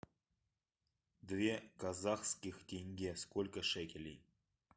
две казахских тенге сколько шекелей